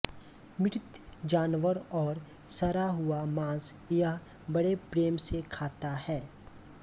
मृत जानवर और सड़ा हुआ मांस यह बड़े प्रेम से खाता है